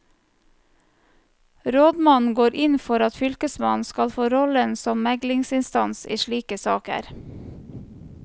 Rådmannen går inn for at fylkesmannen skal få rollen som meglingsinstans i slike saker.